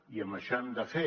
i amb això hem de fer